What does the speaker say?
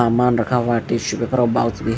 सामान रखा हुआ है टिशू पेपर भी--